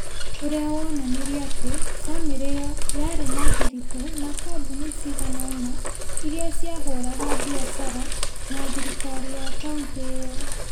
ũrĩa woonanirie atĩ bamĩrĩ ĩyo yarĩ na thiritũ na kambuni cigana ũna iria ciahũraga biacara na thirikari ya Kauntĩ ĩyo.